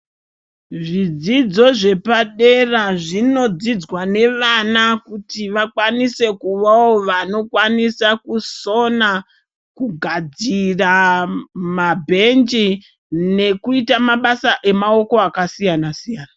Zvidzidzo zvepadera zvinodzidzwa nevana kuti vakwanise kuvawo vanokwanisa kusona, kugadzira mabhenji nekuita mabasa akasiyana-siyana.